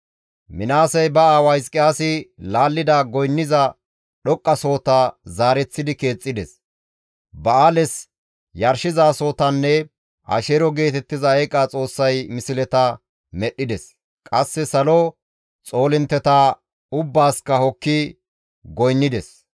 Minaasey ba aawa Hizqiyaasi laallida goynniza dhoqqasohota zaareththidi keexxides; ba7aales yarshizasohotanne Asheero geetettiza eeqa xoossay misleta medhdhides; qasse salo xoolintteta ubbaasikka hokki goynnides.